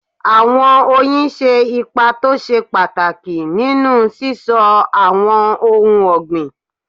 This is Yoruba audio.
Àwọn oyin ṣe ipa tó ṣe pàtàkì nínú síso àwọn ohun ọ̀gbìn.